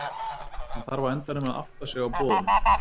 Hann þarf á endanum að átta sig á boðunum.